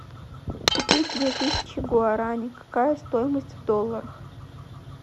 купить две тысячи гуарани какая стоимость в долларах